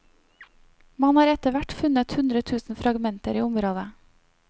Man har etter hvert funnet hundre tusen fragmenter i området.